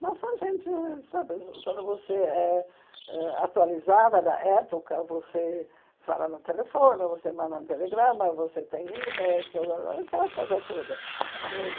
Mas quando a gente sabe quando você é ãh atualizada da época, você fala no telefone, você manda um telegrama, você tem e-mail, aquela coisa toda.